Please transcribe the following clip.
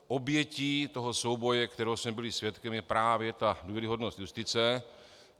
Obětí toho souboje, kterého jsme byli svědkem, je právě ta důvěryhodnost justice.